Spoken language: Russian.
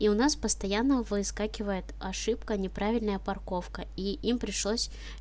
и у нас постоянно выскакивает ошибка неправильная парковка и им пришлось